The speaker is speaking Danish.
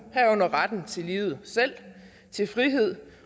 herunder retten til livet selv til frihed